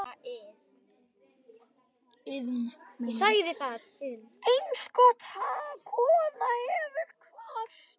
Einstök kona hefur kvatt.